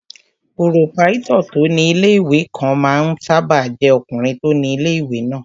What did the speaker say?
Pòròpáítọ̀ tó ní ilé-ìwé kan máa ń sáábà jẹ́ ọkùnrin tó ni ilé-ìwé náà